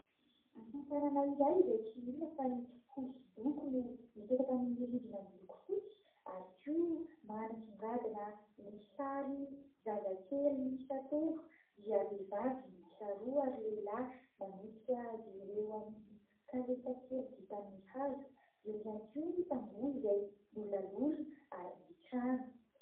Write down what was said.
Asa tanana iray izay tsy inona fa ny hosodoko no mipetaka amin'ny rindrina miloko fotsy ary koa manasongadina ny sary zazakely miisa telo dia vehivavy miisa roa ary lehilahy manosika azy ireo amin'ny kalesa kely vita amin'ny hazo. Eo ihany koa ny tamboho izay nolalorina ary ny trano.